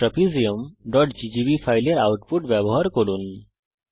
cons trapeziumজিজিবি ফাইলের output ব্যবহার করুন